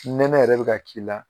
Nɛnɛ yɛrɛ bɛ ka k'i la.